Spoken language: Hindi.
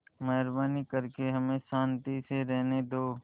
मेहरबानी करके हमें शान्ति से रहने दो